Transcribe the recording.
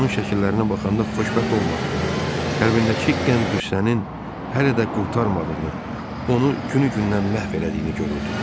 Onun şəkillərinə baxanda xoşbəxt olmadığını, qəlbindəki qəm-qüssənin hələ də qurtarmadığını, onu günü-gündən məhv elədiyini görürdüm.